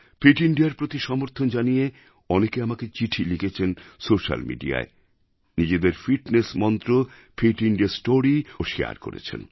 fit Indiaর প্রতি সমর্থন জানিয়ে অনেকে আমাকে চিঠি লিখেছেন সোশিয়াল Mediaয় নিজেদের ফিটনেস মন্ত্র ফিট ইন্দিয়া Storyও শারে করেছেন